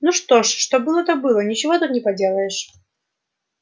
ну что ж что было то было ничего тут не поделаешь